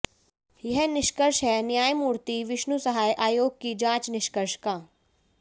यह निष्कर्ष है न्यायमूर्ति विष्णु सहाय आयोग की जांच निष्कर्ष का